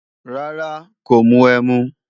Rárá, kò mu ẹmu